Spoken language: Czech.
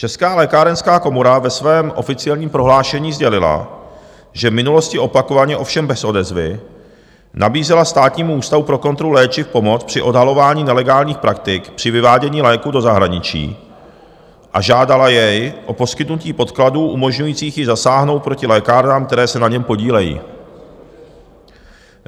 Česká lékárenská komora ve svém oficiálním prohlášení sdělila, že v minulosti opakovaně - ovšem bez odezvy - nabízela Státnímu ústavu pro kontrolu léčiv pomoc při odhalování nelegálních praktik při vyvádění léků do zahraničí a žádala jej o poskytnutí podkladů umožňujících jí zasáhnout proti lékárnám, které se na něm podílejí.